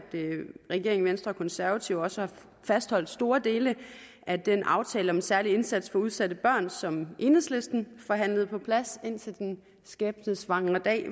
regeringen og venstre og konservative også har fastholdt store dele af den aftale om en særlig indsats for udsatte børn som enhedslisten forhandlede på plads indtil den skæbnesvangre dag